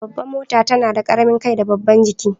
Babban mota tana da karamin kai da babban jiki.